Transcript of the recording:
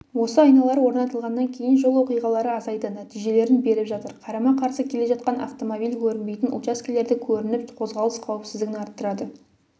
осы айналар орнатылғаннан кейін жол оқиғалары азайды нәтижелерін беріп жатыр қарама-қарсы келе жатқан автомобиль көрінбейтін учаскелерде көрініп қозғалыс қауіпсіздігін арттырады